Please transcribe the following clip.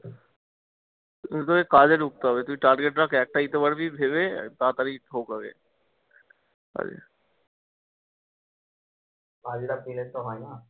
কিন্তু তোকে কাজে ধুকতে হবে, তুই চালিয়ে খাস একটা দিতে পারবি ভেবে তাড়াতাড়ি ঢোক আগে